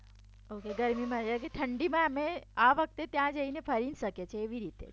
ઠંડીમાં અમે આ વખતે ત્યાં જઈને ફરી શકીએ એવી રીતે